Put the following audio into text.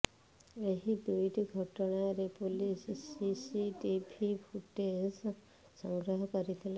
ଏହି ଦୁଇଟି ଘଟଣାରେ ପୁଲିସ ସିସିଟିଭି ଫୁଟେଜ ସଂଗ୍ରହ କରିଥିଲା